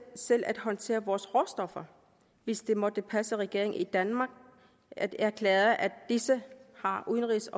selv at håndtere vores råstoffer hvis det måtte passe regeringen i danmark at erklære at disse har udenrigs